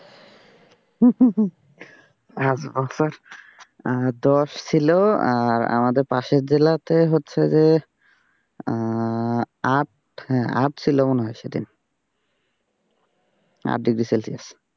পাঁচ বছর দশ ছিল আর আমাদের পাশের জেলা তে হচ্ছে যে আহ আট, আট ছিল মনে হয় সে দিন, আট ডিগ্রি সেলসিয়াস।